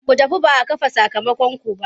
Ku tafi ba a kafe sakamakonku ba!